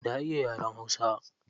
Na iya yaren hausa.